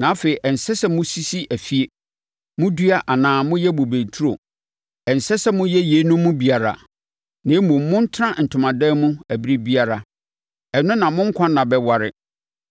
Na afei ɛnsɛ sɛ mosisi afie, modua anaa moyɛ bobe nturo, ɛnsɛ sɛ moyɛ yeinom mu biara, na mmom montena ntomadan mu ɛberɛ biara. Ɛno na mo nkwa nna bɛware,